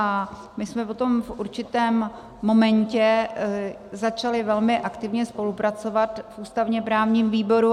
A my jsme potom v určitém momentě začali velmi aktivně spolupracovat v ústavně-právním výboru.